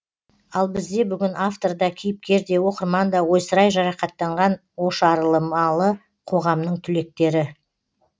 ал бізде бүгін автор да кейіпкер де оқырман да ойсырай жарақаттанған ошарылмалы қоғамның түлектері